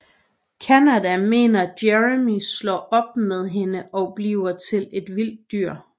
Candace mener Jeremy slår op med hende og bliver et vildt dyr